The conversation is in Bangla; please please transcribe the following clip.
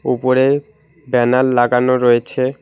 ওপরে ব্যানার লাগানো রয়েছে।